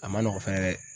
A ma nɔgɔn fɛnɛ